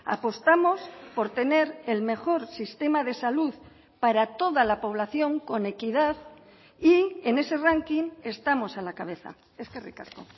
apostamos por tener el mejor sistema de salud para toda la población con equidad y en ese ranking estamos a la cabeza eskerrik asko